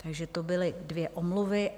Takže to byly dvě omluvy.